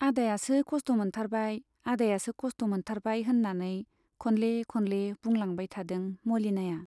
आदायासो खस्थ' मोनथारबाय, आदायासो खस्थ' मोनथारबाय होन्नानै खनले खनले बुंलांबाय थादों मलिनाया।